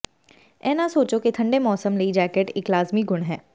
ਇਹ ਨਾ ਸੋਚੋ ਕਿ ਠੰਢੇ ਮੌਸਮ ਲਈ ਜੈਕਟ ਇਕ ਲਾਜ਼ਮੀ ਗੁਣ ਹੈ